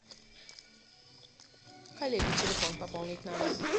коллеге телефон пополнить надо